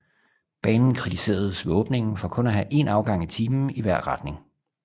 Banen kritiseredes ved åbningen for kun at have en afgang i timen i hver retning